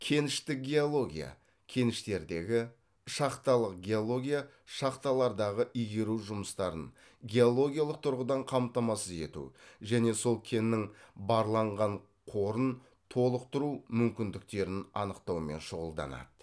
кеніштік геология кеніштердегі шахталық геология шахталардағы игеру жұмыстарын геологиялық тұрғыдан қамтамасыз ету және сол кеннің барланған қорын толықтыру мүмкіндіктерін анықтаумен шұғылданады